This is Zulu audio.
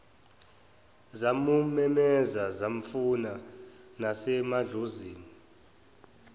zamumemeza zamfuna nasemahlozini